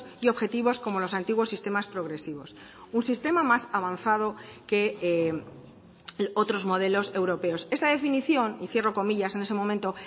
y objetivos como los antiguos sistemas progresivos un sistema más avanzado que otros modelos europeos esta definición y cierro comillas en ese momento